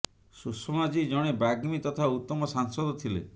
ସୁଷମା ଜୀ ଜଣେ ବାଗ୍ମୀ ତଥା ଉତ୍ତମ ସାଂସଦ ଥିଲେ